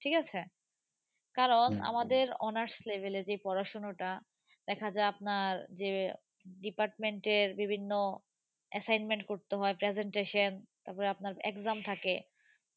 ঠিক আছে। কারণ আমাদের honors level এ যে পড়াশোনাটা দেখা যায় আপনার যে department এর বিভিন্ন assignment করতে হয় presentation তারপরে আপনার exam থাকে।